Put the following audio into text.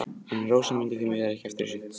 En Rósa mundi því miður ekki eftir þessu.